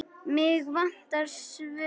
Mig vantar svör.